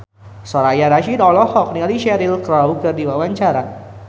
Soraya Rasyid olohok ningali Cheryl Crow keur diwawancara